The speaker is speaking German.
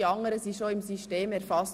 Die anderen sind bereits erfasst.